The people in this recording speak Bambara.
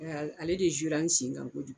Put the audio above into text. Ɛ ale de zuyera an sen kan kojugu